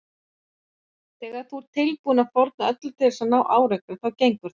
Þegar þú ert tilbúinn að fórna öllu til þess að ná árangri þá gengur það.